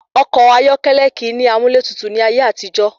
Ọkọ̀ ayọ́kẹ́lẹ́ kìí ní amúlẹ́tutù ní ayé àtijó.